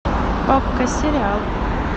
окко сериал